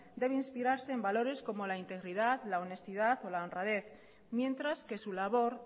debe inspirarse en valores como la integridad la honestidad o la honradez mientras que su labor